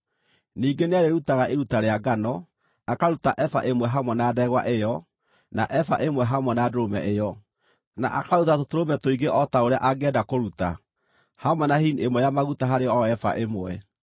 Ningĩ nĩarĩĩrutaga iruta rĩa ngano, akaruta eba ĩmwe hamwe na ndegwa ĩyo, na eba ĩmwe hamwe na ndũrũme ĩyo, na akaruta tũtũrũme tũingĩ o ta ũrĩa angĩenda kũruta, hamwe na hini ĩmwe ya maguta harĩ o eba ĩmwe.